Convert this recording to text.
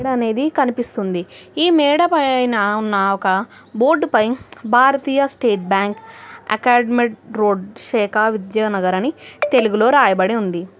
మేడ అనేది కనిపిస్తుంది ఈ మేడ పైన ఉన్న ఒక బోర్డుపై భారతీయ స్టేట్ బ్యాంక్ అకాడ్మేట్ రోడ్ శేఖ విద్యానగర్ అని తెలుగులో రాయబడి ఉంది.